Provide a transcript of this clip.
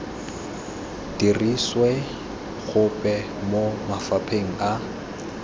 dirisiwe gope mo mafapheng a